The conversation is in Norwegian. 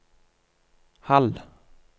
halv